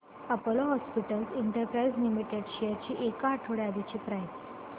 Apollo Hospitals Enterprise Limited shares ची एक आठवड्या आधीची प्राइस